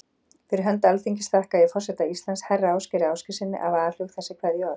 Fyrir hönd Alþingis þakka ég forseta Íslands, herra Ásgeiri Ásgeirssyni, af alhug þessi kveðjuorð.